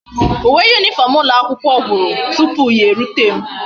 Uwe uniform ulo akwukwo gwuru tupu ya e rute m